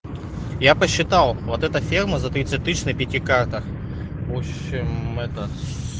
я посчитал вот это ферма за тридцать тысяч на пяти картах в общем это с